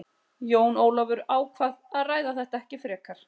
Jón Ólafur ákvað að ræða þetta ekki frekar.